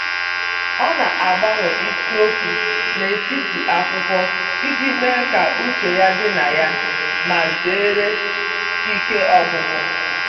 Ọ na-agbanwe isiokwu n'etiti akwụkwọ iji mee ka uche ya dị na ya ma zere ike ọgwụgwụ.